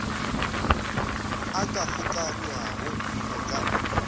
a ka kgokaganywago go ka